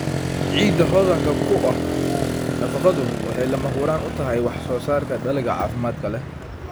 Ciidda hodanka ku ah nafaqadu waxay lama huraan u tahay wax-soo-saarka dalagga caafimaadka leh.